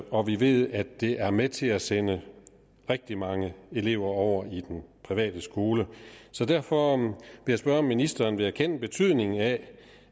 og vi ved at det er med til at sende rigtig mange elever over i den private skole så derfor vil jeg spørge om ministeren vil erkende betydningen af